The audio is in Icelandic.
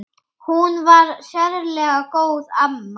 Hún var sérlega góð amma.